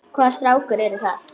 Hvaða strákar eru það?